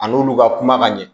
A n'olu ka kuma ka ɲɛ